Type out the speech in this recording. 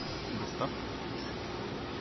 доставка суши